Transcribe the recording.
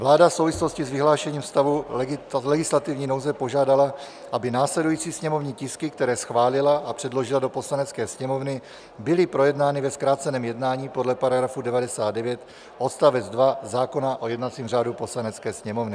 Vláda v souvislosti s vyhlášením stavu legislativní nouze požádala, aby následující sněmovní tisky, které schválila a předložila do Poslanecké sněmovny, byly projednány ve zkráceném jednání podle § 99 odst. 2 zákona o jednacím řádu Poslanecké sněmovny.